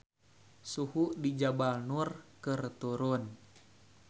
Suhu di Jabal Nur keur turun